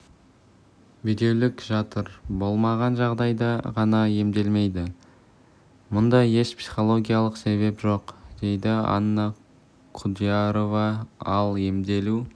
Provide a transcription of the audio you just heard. бедеулік жатыр болмаған жағдайда ғана емделмейді мұнда еш психологиялық себеп жоқ дейді анна құдиярова ал емделу